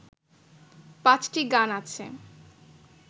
পাঁচটি গান আছে